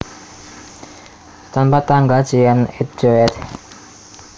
Tanpa tanggal Jean et Jo éd